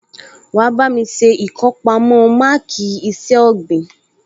Wà á bá mi ṣe ìkọpamọ́ máàkì iṣẹ́ ọ̀gbìn